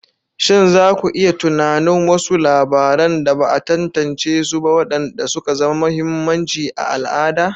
Shin za ku iya tunanin wasu labaran da ba a tantance su ba waɗanda suka zama mahimmanci a al'ada?